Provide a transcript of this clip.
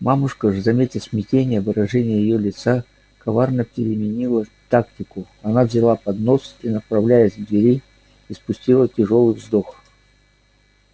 мамушка же заметив смятение выражение её лица коварно переменила тактику она взяла поднос и направляясь к двери испустила тяжёлый вздох